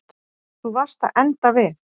Þú varst að enda við.